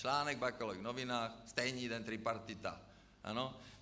Článek v Bakalových novinách, stejný den tripartita.